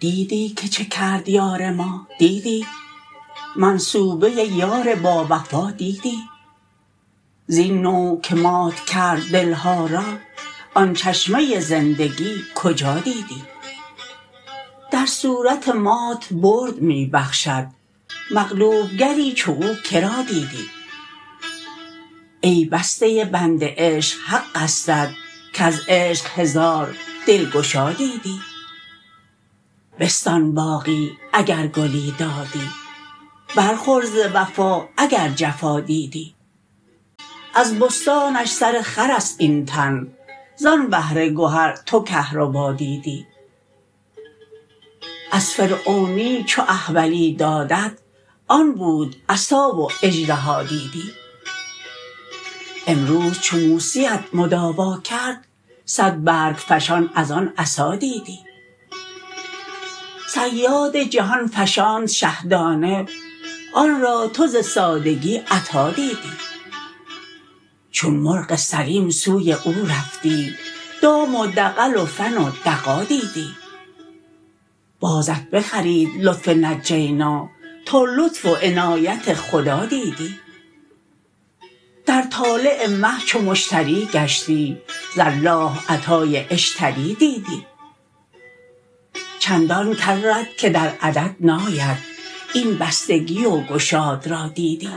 دیدی که چه کرد یار ما دیدی منصوبه یار باوفا دیدی زین نوع که مات کرد دل ها را آن چشمه زندگی کجا دیدی در صورت مات برد می بخشد مقلوب گری چو او که را دیدی ای بسته بند عشق حقستت کز عشق هزار دلگشا دیدی بستان باغی اگر گلی دادی برخور ز وفا اگر جفا دیدی از بستانش سر خر است این تن زان بحر گهر تو کهربا دیدی از فرعونی چو احولی دادت آن بود عصا و اژدها دیدی امروز چو موسی ت مداوا کرد صد برگ فشان از آن عصا دیدی صیاد جهان فشاند شهدانه آن را تو ز سادگی عطا دیدی چون مرغ سلیم سوی او رفتی دام و دغل و فن و دغا دیدی بازت بخرید لطف نجینا تا لطف و عنایت خدا دیدی در طالع مه چو مشتری گشتی ز الله عطای اشتری دیدی چندان کرت که در عدد ناید این بستگی و گشاد را دیدی